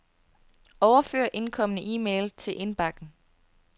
Overfør indkomne e-mail til indbakken.